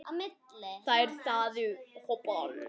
Þær þáðu boðið.